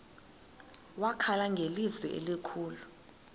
wakhala ngelizwi elikhulu